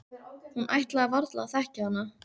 Hún ætlaði varla að þekkja hana.